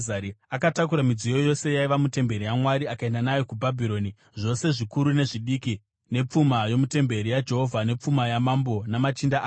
Akatakura midziyo yose yaiva mutemberi yaMwari akaenda nayo kuBhabhironi, zvose zvikuru nezvidiki nepfuma yomutemberi yaJehovha nepfuma yaMambo namachinda ake.